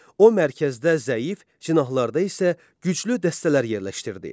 O mərkəzdə zəif, cinahlarda isə güclü dəstələr yerləşdirdi.